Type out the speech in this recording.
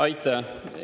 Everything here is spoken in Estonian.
Aitäh!